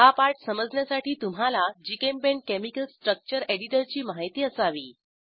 हा पाठ समजण्यासाठी तुम्हाला जीचेम्पेंट केमिकल स्ट्रक्चर एडिटरची माहिती असावी